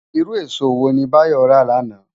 Irú ésó wóni Bayo rá làná?